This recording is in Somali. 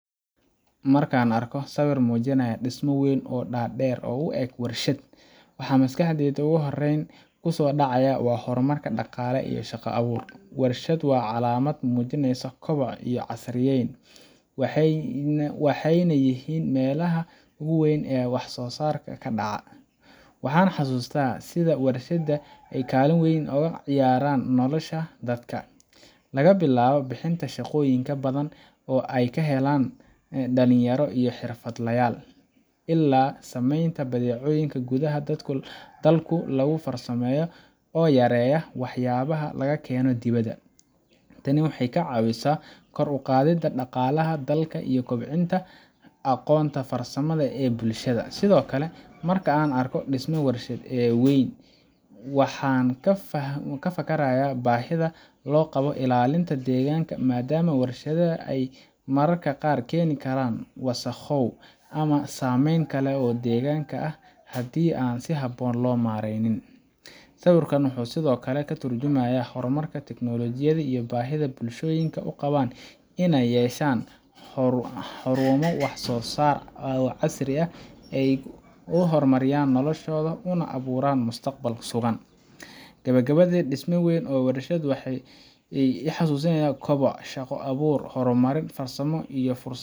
Marka aan arko sawir muujinaya dhismo weyn oo dhaadheer oo u eg warshad, waxa maskaxdayda ugu horreyn ku soo dhacaya horumarka dhaqaale iyo shaqo-abuurka. Warshad waa calaamad muujinaysa koboc iyo casriyeyn, waxayna yihiin meelaha ugu weyn ee wax-soo-saarka ka dhaca. Waxaan xasuustaa sida warshadaha ay ugaalin weyn uga ciyaaraan nolosha dadka laga bilaabo bixinta shaqooyin badan oo ay helaan dhalinyaro iyo xirfadlayaal, ilaa sameynta badeecooyin gudaha dalka lagu farsameeyo oo yareeya waxyaabaha laga keeno dibadda. Tani waxay ka caawisaa kor u qaadidda dhaqaalaha dalka iyo kobcinta aqoonta farsamada ee bulshada. Sidoo kale, marka aan arko dhisme warshad oo weyn, waxaan ka fakarayaa baahida loo qabo ilaalinta deegaanka, maadaama warshadaha ay mararka qaar keeni karaan wasakhow ama saameyn kale oo deegaanka ah haddii aan si habboon loo maareynin. Sawirkan wuxuu sidoo kale ka tarjumayaa horumarka tiknoolajiyada iyo baahida bulshooyinku u qabaan inay yeeshaan xarumo wax-soo-saar oo casri ah ay u horumariyaan noloshooda, una abuuraan mustaqbal sugan. Gebagabadii, dhisme weyn oo warshadeed ah wuxuu i xasuusinayaa koboc, shaqo-abuur, horumarin farsamo, iyo